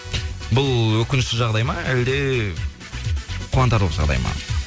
бұл өкінішті жағдай ма әлде қуантарлық жағдай ма